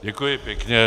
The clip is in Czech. Děkuji pěkně.